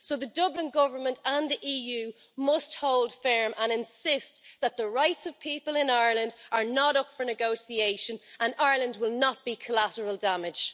So the Dublin government and the EU must hold firm and insist that the rights of people in Ireland are not up for negotiation and that Ireland will not be collateral damage.